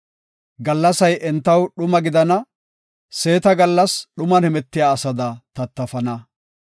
Gallasay entaw dhuma gidana; seeta gallas dhuman hemetiya asada tattafana.